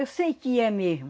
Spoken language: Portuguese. Eu sei que é mesmo.